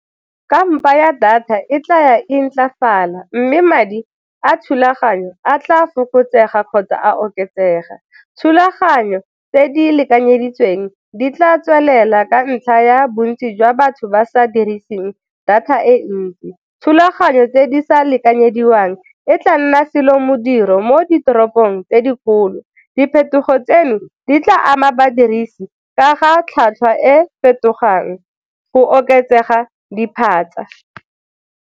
Kampa ya data e tlaya e ntlafala mme madi a thulaganyo a tla fokotsega kgotsa a oketsega. Thulaganyo tse di lekanyeditsweng di tla tswelela ka ntlha ya bontsi jwa batho ba sa diriseng data e ntsi, thulaganyo tse di sa lekanyediwang e tla nna selo modiro mo ditoropong tse dikgolo, diphetogo tseno di tla ama badirisi ka ga tlhwatlhwa e fetogang go oketsega diphatsa.